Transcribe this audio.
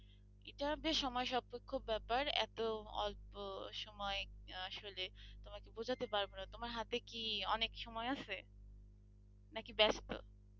এটা বেশ সময়সাপেক্ষ ব্যাপার এত অল্প সময় আসলে তোমাকে বোঝাতে পারবো না তোমার হাতে কি অনেক সময় আছে? নাকি ব্যস্ত?